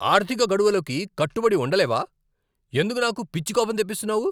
ఆర్థిక గడువులకు కట్టుబడి ఉండలేవా? ఎందుకు నాకు పిచ్చి కోపం తెప్పిస్తున్నావు!